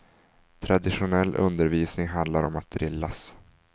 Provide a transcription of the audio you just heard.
Traditionell undervisning handlar om att drillas.